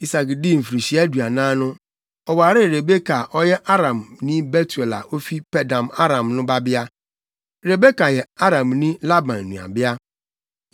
Isak dii mfirihyia aduanan no, ɔwaree Rebeka a ɔyɛ Aramni Betuel a ofi Paddan-Aram no babea. Rebeka yɛ Aramni Laban nuabea.